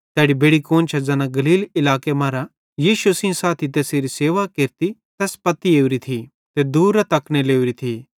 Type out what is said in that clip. तैड़ी बेड़ि कुआन्शां ज़ैना गलील इलाके मरां यीशु सेइं साथी तैसेरी सेवा केरती तैस पत्ती ओरी थी ते दूरेरां तकने लोरी थी